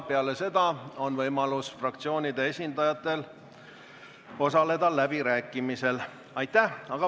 Peale seda on fraktsioonide esindajatel võimalik osaleda läbirääkimistel.